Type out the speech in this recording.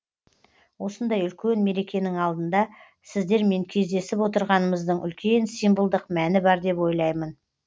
осындай үлкен мерекенің алдында сіздермен кездесіп отырғанымыздың үлкен символдық мәні бар деп ойлаймын